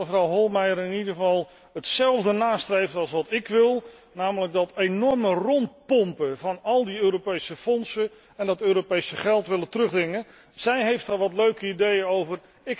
Ik zie dat mevrouw Hohlmeier in ieder geval hetzelfde nastreeft als ik, namelijk dat enorme rondpompen van al die Europese fondsen en dat Europese geld willen terugdringen. Zij heeft er al wat leuke ideeën over.